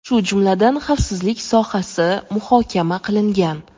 shu jumladan xavfsizlik sohasi muhokama qilingan.